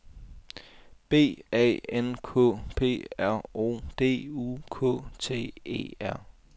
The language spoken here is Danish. B A N K P R O D U K T E R